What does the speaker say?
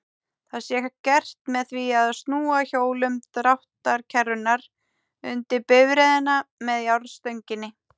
Það sé gert með því að snúa hjólum dráttarkerrunnar undir bifreiðina með járnstönginni.